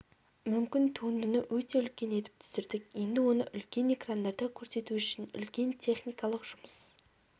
мүмкін туындыны өте үлкен етіп түсірдік енді оны үлкен экрандарда көрсету үшін үлкен техникалық жұмыс